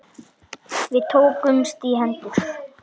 Við tökumst í hendur.